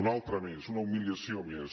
una altra més una humiliació més